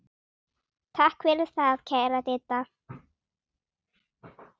Takk fyrir það, kæra Didda.